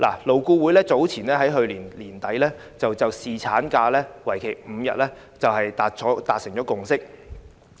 勞顧會在去年年底就侍產假增至5天達成共識。